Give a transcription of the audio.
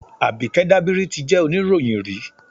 Àbíkẹ́ Dábírí ti jẹ́ oníròyìn rí